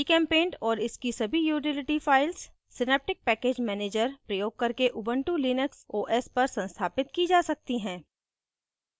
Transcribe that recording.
gchempaint और इसकी सभी utility files synaptic package manager प्रयोग करके ubuntu लिनक्स os पर संस्थापित की जा सकती हैं